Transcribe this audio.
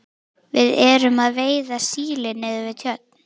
Við erum að veiða síli niður við Tjörn.